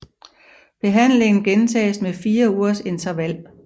Behandlingen gentages med 4 ugers interval